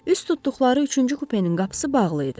Üz tutduqları üçüncü kupenin qapısı bağlı idi.